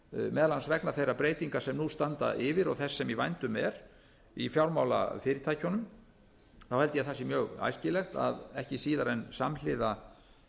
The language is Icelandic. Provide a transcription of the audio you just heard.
meðal annars vegna þeirra breytinga sem nú standa yfir og þess sem í vændum er í fjármálafyrirtækjunum þá held ég að það sé mjög æskilegt að ekki síðar en samhliða